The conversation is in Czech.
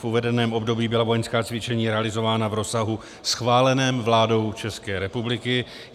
V uvedeném období byla vojenská cvičení realizována v rozsahu schváleném vládou České republiky.